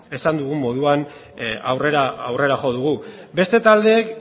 esan dugun moduan aurrera jo dugu beste taldeek